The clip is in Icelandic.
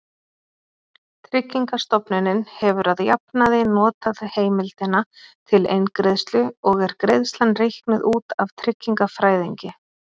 Tryggingastofnunin hefur að jafnaði notað heimildina til eingreiðslu og er greiðslan reiknuð út af tryggingafræðingi.